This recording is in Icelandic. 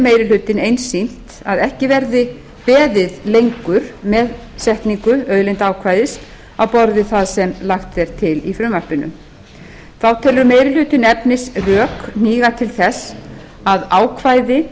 meiri hlutinn einsýnt að ekki verði beðið lengur með setningu auðlindaákvæðis á borð við það sem lagt er til í frumvarpinu þá telur meiri hlutinn efnisrök hníga til þess að ákvæði